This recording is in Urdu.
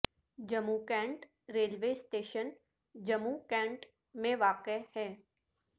Jammu Cantt railway station Jammu Cantt میں واقع ہے